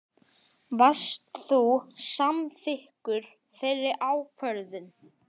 Varst þú samþykkur þeirri ákvörðun?